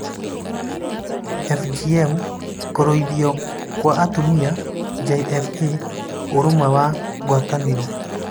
(FGM) Kũruithio kwa Atumia (JFA) Ũrũmwe wa Ngwatanĩro